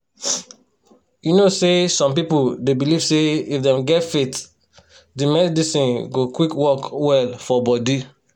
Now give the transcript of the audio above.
you know say some people dey believe say if dem get faith the medicine go quick work well for body